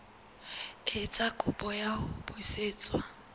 etsa kopo ya ho busetswa